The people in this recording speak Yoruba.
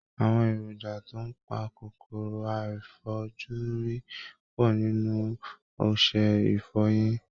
Àwọn èrònjà tó ń pa kòkòrò àìfojúrí pọ̀ nínú ọṣẹ ìfọyín